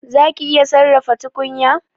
Zaki iya sarrafa tukunya?